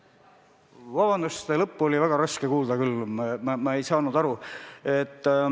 Vabandust, lõppu oli väga raske kuulda, ma ei saanud aru.